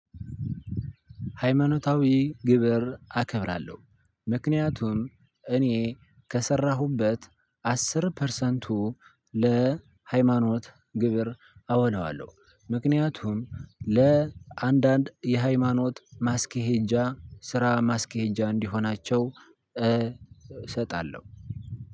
ሃይማኖታዊ ግብር አከብራለሁ። ምክንያቱም እኔ ከሰራሁበት አስር ፐርሰንቱ ለሃይማኖት ግብር አወላዋለሁ። ምክንያቱም ለአንዳንድ የሃይማኖት ማስኬጃ ስራ ማስኬጃ እንዲሆናቸው እሰጣለሁ።